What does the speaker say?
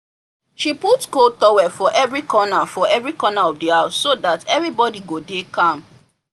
she put cold tower for every corner for every corner of the house so that everybody go dey calm